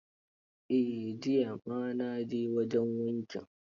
Eh, jiya ma na je wajen wankin.